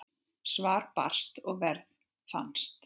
Svar barst og verð fannst.